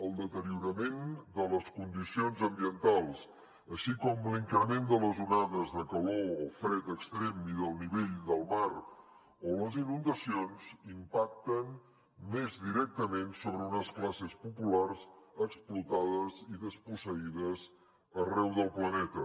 el deteriorament de les condicions ambientals així com l’increment de les onades de calor o fred extrem i del nivell del mar o les inundacions impacten més directament sobre unes classes populars explotades i desposseïdes arreu del planeta